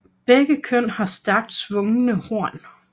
Begge køn har stærkt svungne horn